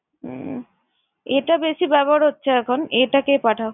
উম A টা বেশি ব্যবহার হচ্ছে এখন। A টাকে পাঠাও।